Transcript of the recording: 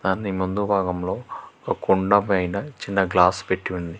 దాని ముందు భాగంలో ఓ కుండ పైన చిన్న గ్లాస్ పెట్టి ఉంది.